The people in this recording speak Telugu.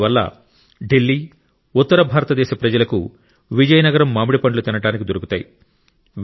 దీనివల్ల ఢిల్లీ ఉత్తర భారతదేశ ప్రజలకు విజయనగరం మామిడిపండ్లు తినడానికి దొరుకుతాయి